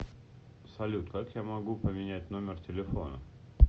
салют как я могу поменять номер телефона